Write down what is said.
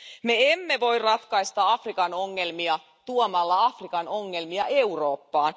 Me emme voi ratkaista Afrikan ongelmia tuomalla Afrikan ongelmia Eurooppaan.